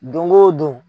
Don o don